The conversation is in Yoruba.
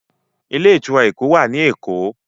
Ilé-ìtura Ẹkọ wá ní èkó.